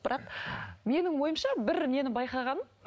бірақ менің ойымша бір нені байқағаным